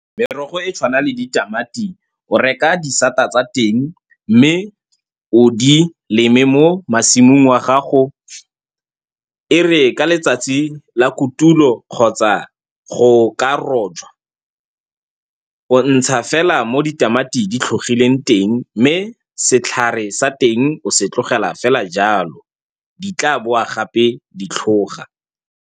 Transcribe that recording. Merogo e tshwana le ditamati, o reka di-sade tsa teng mme o di leme mo masimong a gago. E re ka letsatsi la kotulo kgotsa go ka rojwa, o ntsha fela mo ditamati di tlhogileng teng, mme setlhare sa teng o se tlogela fela jalo. Di tla boa gape di tlhoga.